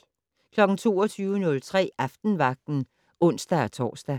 22:03: Aftenvagten (ons-tor)